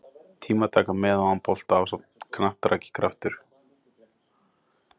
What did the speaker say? Tímataka með og án bolta ásamt knattraki Kraftur?